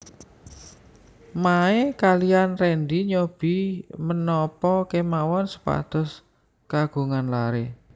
Mae kaliyan Rendy nyobi menapa kemawon supados kagungan laré